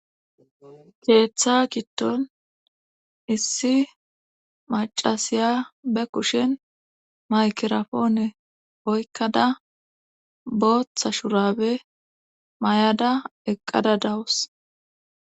keeththa kitton issi macasiya be kushen maykerapoone oykkada booththa shurabe may7ada eqqada dawus